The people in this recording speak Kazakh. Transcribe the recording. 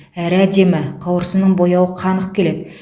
әрі әдемі қауырсынының бояуы қанық келеді